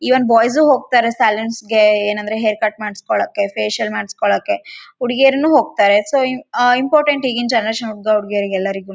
Even boys ಹೋಗ್ತಾರೆ ಸಲೋನ್ಸ್‌ಗೆ ಏನಂದ್ರೆ ಹೇರ್‌ ಕಟ್‌ ಮಾಡ್ಸ್ಕೊಳ್ಳೋಕೆ ಫೇಶಿಯಲ್‌ ಮಾಡ್ಸ್ಕೊಳ್ಳೋಕೆ ಹುಡ್ಗೀರುನೂ ಹೋಗ್ತಾರೆ ಸೋ ಇಂಪೋರ್ಟೆಂಟ್‌ ಈಗಿನ್‌ ಜೆನೆರೇಶನ್‌ ಹುಡ್ಗ ಹುಡ್ಗಿರಿಗೆಲ್ಲರಿಗೂನೂ.